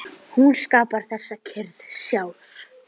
Hún skapar þessa kyrrð sjálf.